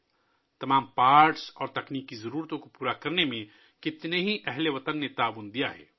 بہت سے ہم وطنوں نے تمام کلپرزوں کی یقینی فراہمی اور تکنیکی ضروریات کو پورا کرنے میں تعاون کیا ہے